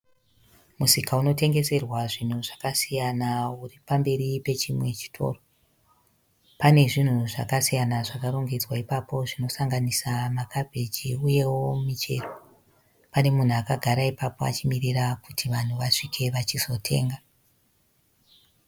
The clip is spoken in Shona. Musika inotengeserwa zvinhu zvakasiyana uri pamberi pechimwe chitoro. Pane zvinhu zvakasiyana zvakarongedzwa ipapo zvinosanganisa makabhichi, uyewo michero. Pane munhu akagara ipapo achimirira kuti vanhu vasvike vachizotenga.